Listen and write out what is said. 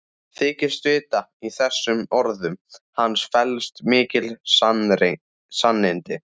Þykist vita að í þessum orðum hans felist mikil sannindi.